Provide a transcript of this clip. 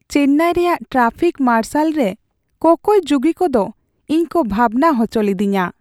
ᱪᱮᱱᱱᱟᱭ ᱨᱮᱭᱟᱜ traffic marshal ᱨᱮ ᱠᱚᱠᱚᱭ ᱡᱩᱜᱤ ᱠᱚᱫᱚ ᱤᱧ ᱠᱚ ᱵᱷᱟᱵᱽᱱᱟ ᱦᱚᱪᱚ ᱞᱤᱫᱤᱧᱟ ᱾